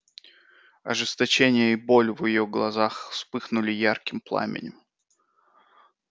ожесточение и боль в её глазах вспыхнули ярким пламенем